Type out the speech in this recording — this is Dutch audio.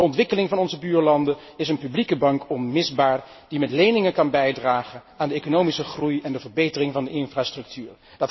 Voor de ontwikkeling van onze buurlanden is een publieke bank onmisbaar, die met leningen kan bijdragen aan de economische groei en de verbetering van de infrastructuur.